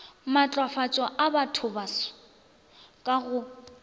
matlafatšo a bathobaso ka go